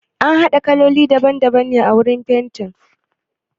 Ana haɗa kaloli daban daban ne wurin fenti?